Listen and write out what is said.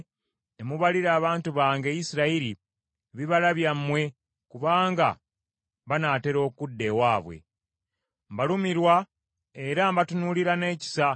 Mbalumirwa era ndibatunuulira n’ekisa, era abalimi balikabala ettaka lyammwe ne basigamu ensigo,